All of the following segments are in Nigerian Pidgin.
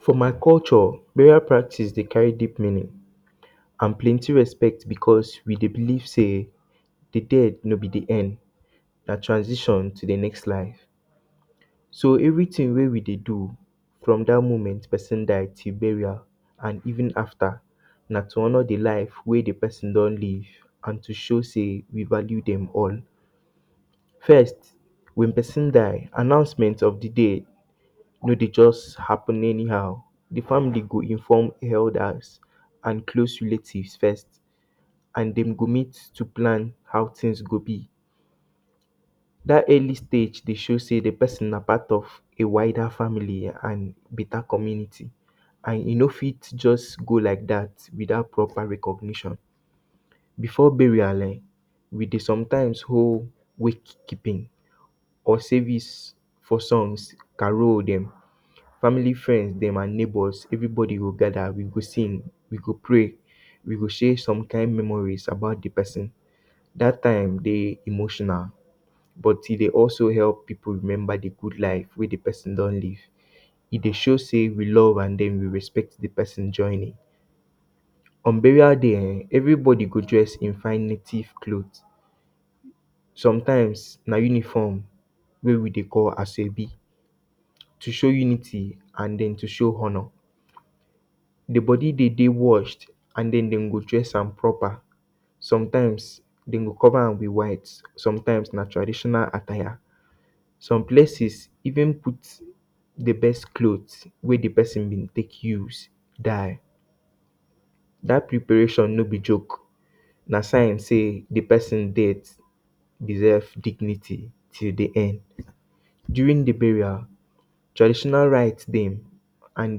For my culture burial practice dey carry deep meaning and plenty respect because we believe sey de death no be de end na transition to de next life so everything wey we dey do from dat moment persin die till burial and even after na to honor de life wey de persin don live and to show sey we value dem all. First when persin die announcement of de day no dey just happen anyhow, de family go inform elders and close relative first and dem go meet to plan how things go be dat early stage dey show sey de persin na part of a wider family and beta community and e no fit just go like dat without proper recognition. Before burial um we dey sometimes hold wake keeping or service for songs carol dem family friends dem and neighbors, everybody go gather we go sing, we go prey we go share some kind memories about de persin dat time dey emotional but e dey also help pipu remember de good life wey de persin don live. E dey show sey we love and then we respect de persin journey. On burial day um everybody go dress in fine native cloth sometimes na uniform wey we dey call aso ebi to show unity and den to show honor. De body dey dey washed and den dem go dress am proper, sometimes dem go cover am with white, sometimes na traditional attire some places even put de best cloth wey de persin bin take use die. Dat preparation no be joke na sign sey de persin death deserve dignity till de end. During de burial traditional right dem and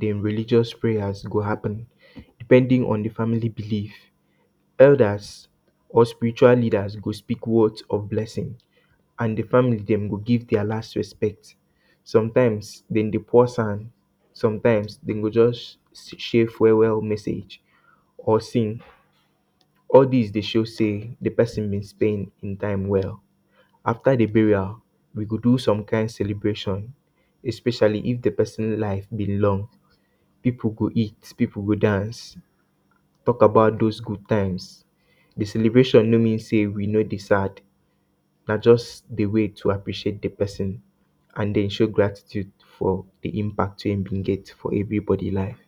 dem religious prayers go happen depending on de family believe, elders or spiritual leaders go speak words of blessing and de family dem go give der last respect. Sometimes dem dey pour sand, sometimes dem go just share farewell message or sing. All dis dey show sey de persin bin stay in time well. After de burial we dey do some kind celebration especially if de persin life bin long pipu go eat, pipu go dance talk about those good times, de celebration no mean sey we no dey sad na just a way to appreciate de persin and den show gratitude for de impact wey e bin get for everybody life.